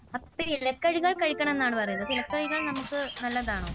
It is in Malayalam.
അപ്പോൾ ഇലക്കറികൾ കഴിക്കണമെന്നാണോ പറയുന്നത്? ഇലക്കറികൾ നമുക്ക് നല്ലതാണോ?